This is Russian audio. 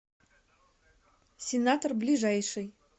сенатор ближайший